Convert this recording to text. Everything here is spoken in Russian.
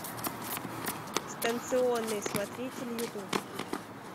станционный смотритель ютуб